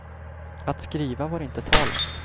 Att skriva var det inte tal om.